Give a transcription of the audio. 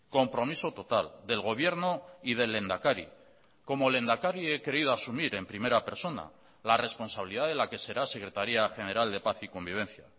compromiso total del gobierno y del lehendakari como lehendakari he querido asumir en primera persona la responsabilidad de la que será secretaría general de paz y convivencia